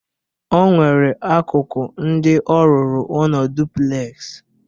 O nwere akụkụ ndị ọ rụrụ ụnọ duplex.